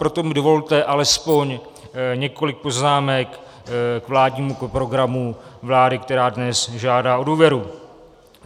Proto mi dovolte alespoň několik poznámek k vládnímu programu vlády, která dnes žádá o důvěru.